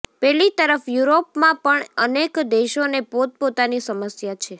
પેલી તરફ યુરોપમાં પણ અનેક દેશોને પોતપોતાની સમસ્યા છે